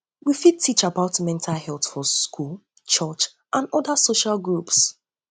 we fit teach fit teach about mental health for school church and oda social groups